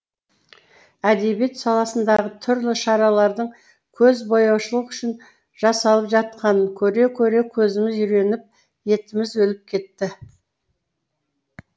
әдебиет саласындағы түрлі шаралардың көзбояушылық үшін жасалып жатқанын көре көре көзіміз үйреніп етіміз өліп кетті